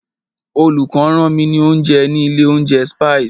Olùkó rán mi ní oúnjẹ ní ilé oúnjẹ Spices.